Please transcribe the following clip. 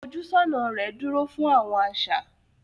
Ifojusona rè dúró fún Awọn aṣa